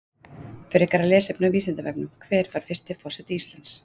Frekara lesefni á Vísindavefnum: Hver var fyrsti forseti Íslands?